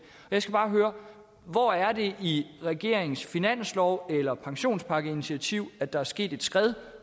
jeg skal bare høre hvor er det i regeringens finanslov eller pensionspakkeinitiativ at der er sket et skred